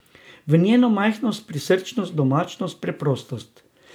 V njeno majhnost, prisrčnost, domačnost, preprostost.